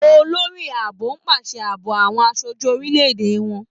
Olórí Ààbò pàṣẹ ààbò àwọn aṣojú orílè-èdè wọn.